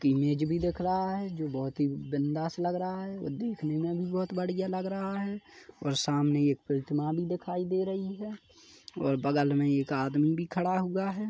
Image भी दिख रहा हैं जो बहोत ही बिंदास लग रहा हैं और देखने में भी बहोत बढ़िया लग रहा हैं और सामने एक प्रतिमा भी दिखाई दे रही हैं और बगल में एक आदमी भी खड़ा हुआ हैं।